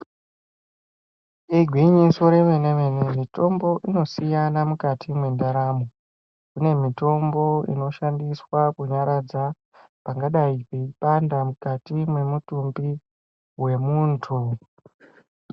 Igwinyiso remene mene mitombo ino siyana mukati mwendaramo, kune mitombo inoshandiswa kunyaradza pangadai peipanda mukati mwemutumbi wemuntu.